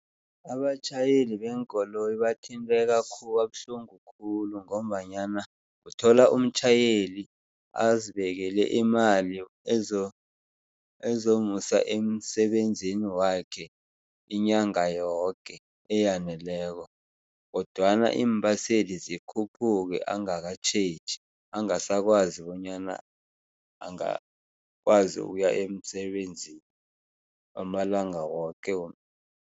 Abatjhayeli beenkoloyi bathinteka khulu kabuhlungu khulu ngombanyana uthola umtjhayeli azibekele imali ezomusa emsebenzini wakhe inyanga yoke, eyaneleko kodwana iimbaseli zikhuphuke angakatjheji, angasakwazi bonyana angakwazi ukuya emsebenzini amalanga woke.